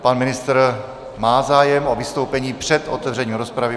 Pan ministr má zájem o vystoupení před otevřením rozpravy.